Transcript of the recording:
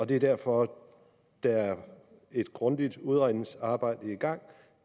det er derfor der er et grundigt udredningsarbejde i gang